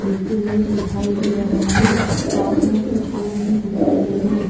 लेते है दिखाई दे रहा हे पास में कुछ और भी दुकाने हे ।